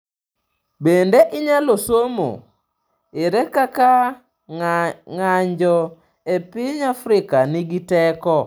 Bende inyalo somo: Ere kaka ng’anjo e piny Afrika nigi teko?